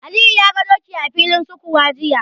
Aliyu ya ga doki a filin sukuwa jiya.